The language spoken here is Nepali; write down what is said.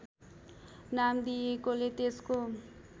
नाम दिइएकोले त्यसको